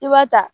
I b'a ta